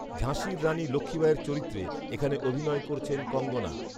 ঝাঁসির রানি লক্ষ্ণীবাঈয়ের চরিত্রে এখানে অভিনয় করেছেন কঙ্গনা